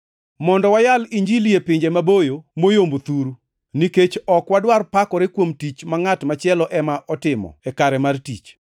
mondo wayal Injili e pinje maboyo moyombo thuru. Nikech ok wadwar pakore kuom tich ma ngʼat machielo ema otimo e kare mar tich.